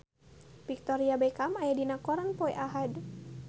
Victoria Beckham aya dina koran poe Ahad